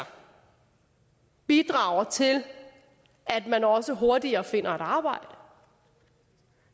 bidrager til at man også hurtigere finder et arbejde